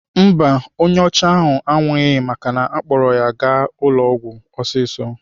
Mba, onye ọcha anwụghị maka na-akpọgara ya ụlọ ọgwụ ọsịsọ.